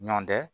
Ɲɔndɛ